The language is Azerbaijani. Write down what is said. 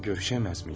Görüşəməz miyiz?